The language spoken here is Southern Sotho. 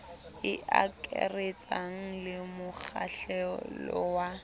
e akaretsang le mokgahlelo wa